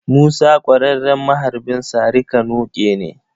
Musa ƙwararren maharbin sari-ka-noƙe ne.